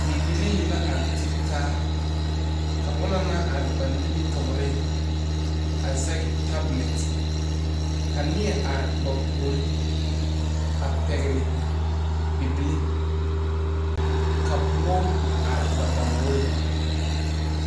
Bibilii la are tegtaa. Ka ona naŋ are ba nimitooreŋ a zeg tabulɛt. Ka neɛ are ba pooreŋ a pɛgle bibile. Ka boɔ are ba lambɔre